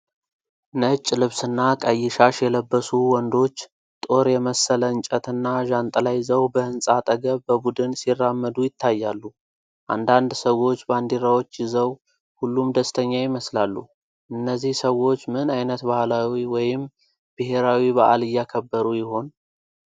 ነጭ ልብስና ቀይ ሻሽ የለበሱ ወንዶች፣ ጦር የመሰለ እንጨት እና ዣንጥላ ይዘው በህንጻ አጠገብ በቡድን ሲራመዱ ይታያሉ። አንዳንድ ሰዎች ባንዲራዎች ይዘው፣ ሁሉም ደስተኛ ይመስላሉ። እነዚህ ሰዎች ምን ዓይነት ባህላዊ ወይም ብሔራዊ በዓል እያከበሩ ይሆን?